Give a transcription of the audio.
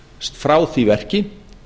frá því verki